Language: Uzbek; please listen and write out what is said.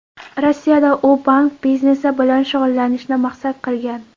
Rossiyada u bank biznesi bilan shug‘ullanishni maqsad qilgan.